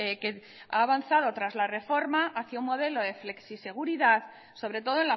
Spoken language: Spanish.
que ha avanzado tras la reforma hacia un modelo de flexiseguridad sobre todo